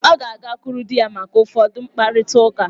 Ọ ga-agakwuru di ya maka ụfọdụ mkparịta uka.